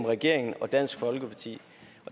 regeringen og dansk folkeparti